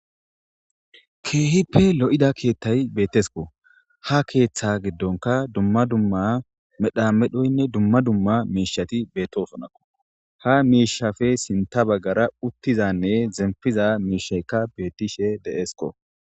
kKeehippe lo'ida keethtay bettesko ha keeththa giddonka dumma dumma medhamedhoynne dumma dumma miishati bettosonnako ha miishape sintha baggara uttishanne zempishe miishaykka beettishe deesko.